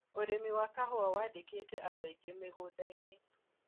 ũrĩmi wa kahũa wandĩkĩte andũ aingĩ mĩgũndainĩ.